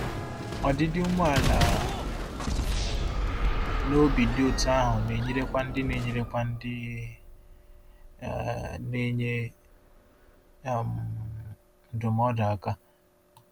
Ọdịdị umeala um n’obi dị otú ahụ na-enyerekwa ndị na-enyerekwa ndị um na-enye um ndụmọdụ aka.